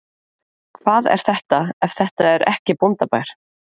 Hvað er þetta ef þetta ekki er bóndabær?